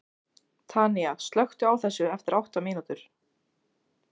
Tanía, slökktu á þessu eftir átta mínútur.